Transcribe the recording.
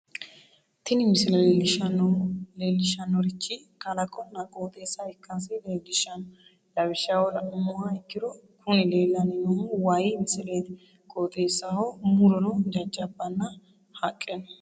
tini misile leellishshannorichi kalaqonna qooxeessa ikkasi leellishshanno lawishshaho la'nummoha ikkiro kuni leellanni noohu wayii misileeti qooxeessaho muro no jajjabbanna haqqe no.